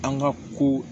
An ka ko